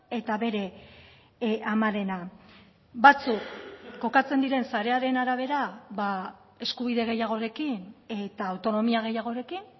eta bere amarena batzuk kokatzen diren sarearen arabera eskubide gehiagorekin eta autonomia gehiagorekin